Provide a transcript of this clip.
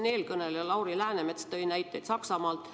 Eelkõneleja Lauri Läänemets tõi näiteid Saksamaalt.